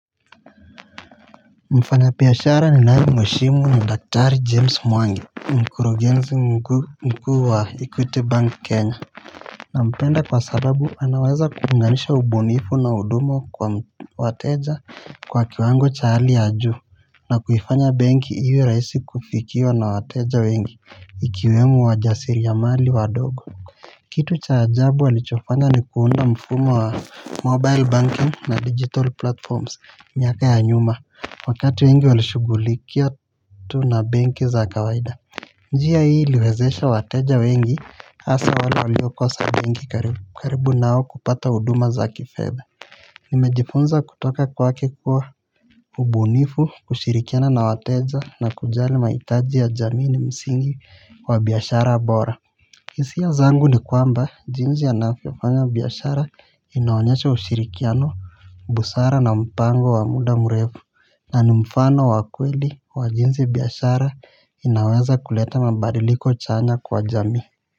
Mfanya biashara ninayemheshimu ni daktari James mwangi, ni mkurugenzi mkuu wa Equity bank kenya nampenda kwa sababu anaweza kuunganisha ubunifu na huduma kwa wateja kwa kiwango cha hali ya juu na kuifanya benki iwe rahisi kufikiwa na wateja wengi, ikiwemo wajasiri ya mali wadogo kitu cha ajabu walichofanya ni kuunda mfumo wa mobile banking na digital platforms miaka ya nyuma Wakati wengi walishughulikia tu na benki za kawaida njia hii liwezesha wateja wengi hasa wale waliokosa benki karibu nao kupata huduma za kifedha Nimejifunza kutoka kwake kuwa ubunifu, kushirikiana na wateja na kujali mahitaji ya jamii ni msingi wa biashara bora hisia zangu ni kwamba jinsi ya anavyofanya biashara inaonyesha ushirikiano busara na mpango wa muda mrefu na ni mfano wa kweli wa jinsi biashara inaweza kuleta mabadiliko chanya kwa jamii.